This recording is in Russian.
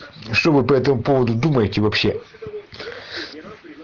что вы по этому поводу думаете вообще